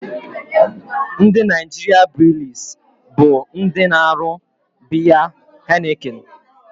Ndị Naịjirịa breelis bụ ndị na-arụ biya Heineken